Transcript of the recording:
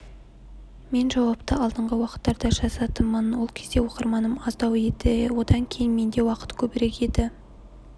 мен жауапты алдыңғы уақыттарда жазатынмын ол кезде оқырманым аздау еді одан кейін менде уақыт көбірек еді